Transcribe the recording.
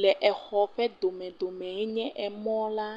le exɔ ƒe domedomɛ yenye emɔ la